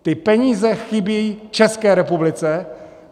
Ty peníze chybějí České republice.